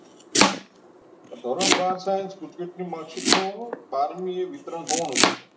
ધોરણ બાર science gujcet ની mark sheet નો બારમી વિતરણ એ થવાનું છે